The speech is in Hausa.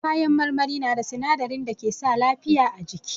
Kayan marmari na da sinadarin da ke sa lafiya a jiki.